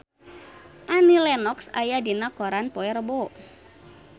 Annie Lenox aya dina koran poe Rebo